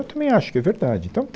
Eu também acho que é verdade então